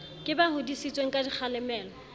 ke ba hodisitsweng ka dikgalemelo